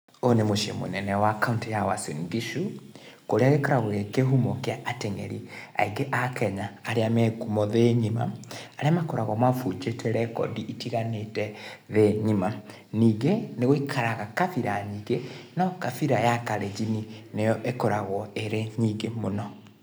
Ũũ nĩ muciĩ munene wa kauntĩ ya Uasin Gishu, kũrĩa gĩkoragwo gĩ kĩhumo kĩa ateng'eri aingĩ a Kenya, arĩa me ngumo thĩ ng'ima, arĩa makoragwo mabunjĩte rekondi itiganĩte thĩ ng'ima, ningĩ nĩ gũikaraga kabira nyingĩ, no kabira ya Kalenjin nĩyo ĩkoragwo ĩ nyingĩ mũno.